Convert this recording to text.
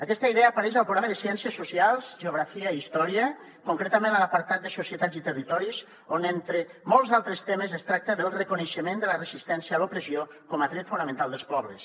aquesta idea apareix al programa de ciències socials geografia i història concretament a l’apartat de societats i territoris on entre molts altres temes es tracta del reconeixement de la resistència a l’opressió com a dret fonamental dels pobles